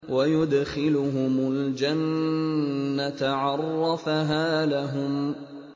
وَيُدْخِلُهُمُ الْجَنَّةَ عَرَّفَهَا لَهُمْ